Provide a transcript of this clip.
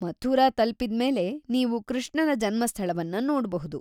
ಮಥುರಾ ತಲುಪಿದ್ಮೇಲೆ ನೀವು ಕೃಷ್ಣನ ಜನ್ಮಸ್ಥಳವನ್ನ ನೋಡ್ಬಹುದು.